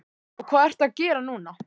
Og hvað ertu að gera núna?